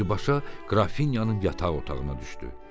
Birbaşa Qrafinyanın yataq otağına düşdü.